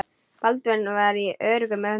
Baldvin var í öruggum höndum.